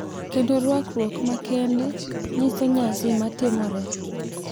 Kendo rwakruok makende nyiso nyasi matimore.